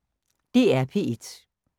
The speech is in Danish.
DR P1